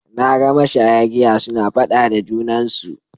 Na ga mashaya giya suna faɗa a junansu.